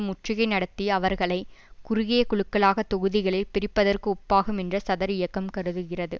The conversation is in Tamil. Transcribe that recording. முற்றுகை நடத்தி அவர்களை குறுகிய குழுக்களாக தொகுதிகளில் பிரிப்பதற்கு ஒப்பாகும் என்று சதரியக்கம் கருதுகிறது